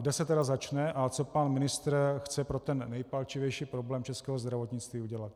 Kde se tedy začne a co pan ministr chce pro ten nejpalčivější problém českého zdravotnictví udělat.